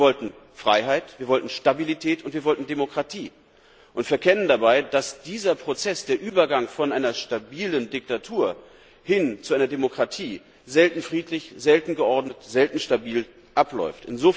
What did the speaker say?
Wir wollten Freiheit, Stabilität und Demokratie, und wir verkennen dabei, dass dieser Prozess, der Übergang von einer stabilen Diktatur hin zu einer Demokratie, selten friedlich, selten geordnet und selten stabil abläuft.